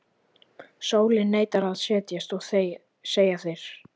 Sólin neitar að setjast, segja þeir.